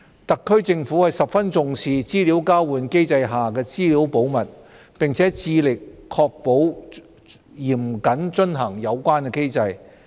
特區政府十分重視資料交換機制下的資料保密，並致力確保嚴謹遵行有關機制。